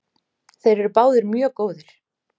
Þeir eru báðir mjög góðir.